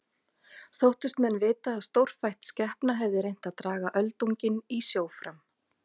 Þóttust menn vita að stórfætt skepna hefði reynt að draga öldunginn í sjó fram.